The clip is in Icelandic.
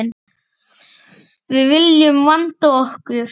Við viljum vanda okkur.